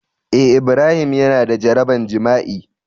Eh Ibrahim Yana da jaraban jima'i